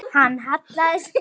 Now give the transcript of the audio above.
Hann hallaði sér á bakið.